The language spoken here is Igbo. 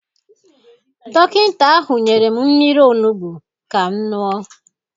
Dọkịta ahụ nyere m mmiri olugbu ka m ṅụọ.